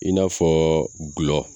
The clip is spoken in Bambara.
I n'a fɔɔ gulɔ.